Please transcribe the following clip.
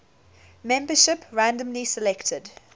membership randomly selected